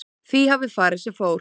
Því hafi farið sem fór